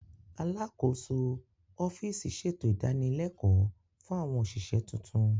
Alákòóso ọ́fíìsì ṣètò ìdanilẹ́kọ̀ọ́ fún àwọn òṣìṣẹ́ tuntun